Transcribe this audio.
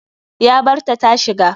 Ya barta tashiga.